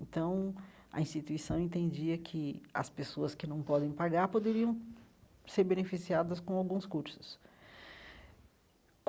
Então, a instituição entendia que as pessoas que não podem pagar poderiam ser beneficiadas com alguns cursos.